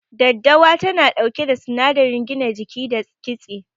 Daddawa tana ɗauke da sinadarin gina jiki da kitse.